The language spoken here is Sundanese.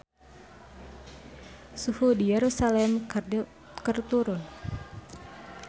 Suhu di Yerusalam keur turun